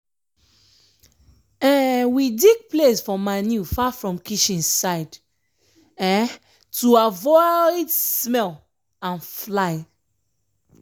um we dig place for manure far from kitchen side um to avoid um smell and fly.